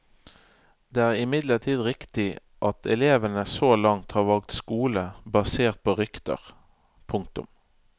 Det er imidlertid riktig at elevene så langt har valgt skole basert på rykter. punktum